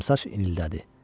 Qıvrımsaç inildədi.